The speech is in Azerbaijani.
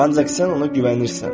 Ancaq sən ona güvənirsən.